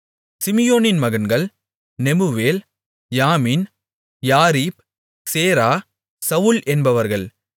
சிமியோனின் மகன்கள் நெமுவேல் யாமின் யாரீப் சேரா சவுல் என்பவர்கள்